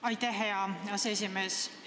Aitäh, hea aseesimees!